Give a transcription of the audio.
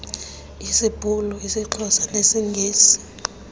sisibhulu isixhosa nesingesi